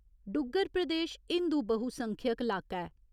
डुग्गर प्रदेश हिंदु बहुसंख्यक लाका ऐ।